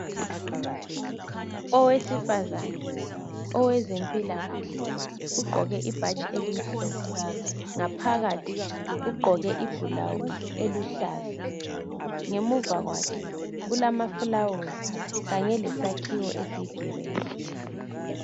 Owesifazana owezempilakahle ogqoke ibhatshi elimhlophe ngaphakathi ugqoke ibhulawuzi eluhlaza. Ngemuva kwakhe kulamafulawuzi kanye lesakhiwo esiyi gireyi.